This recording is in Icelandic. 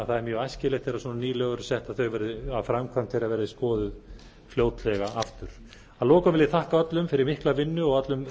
mjög æskilegt þegar svona ný lög eru sett að framkvæmd þeirra verði skoðuð fljótlega aftur að lokum við ég þakka öllum fyrir mikla vinnu og öllum